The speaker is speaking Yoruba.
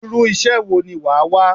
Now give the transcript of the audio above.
Irú iṣẹ́ wo ni wàá wá?